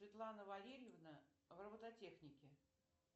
светлана валерьевна в робототехнике